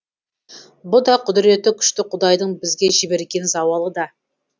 бұ да құдіреті күшті құдайдың бізге жіберген зауалы да